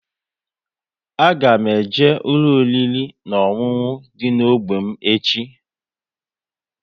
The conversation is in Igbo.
A ga m eje ụlọ oriri na ọṅụṅụ dị n'ógbè m echi